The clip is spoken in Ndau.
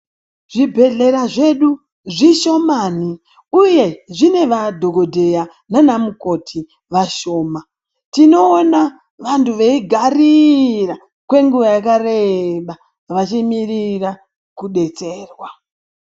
Zvibhedhlera zvedu zvishomani, uye zvine madhogodheya nana mukoti vashoma. Tinoona vantu veigarira kwenguva yakareba vachimirira kubetserwa.